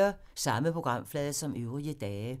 Samme programflade som øvrige dage